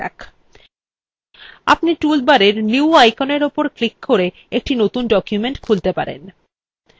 আপনি toolbarএর new আইকনের উপর ক্লিক করে একটি নতুন document খুলতে পারেন